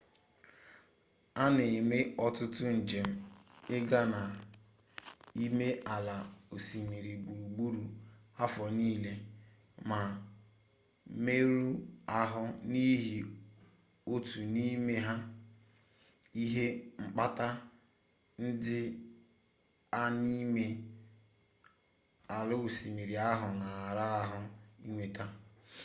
a na-eme ọtụtụ njem ịga na ime ala osimiri gburugburu afọ niile ma mmerụ ahụ n'ihi otu n'ime ihe mkpata ndị a n'ime ala osimiri ahụ na-ara ahụ inweta